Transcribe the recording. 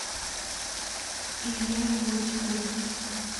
илья иосифович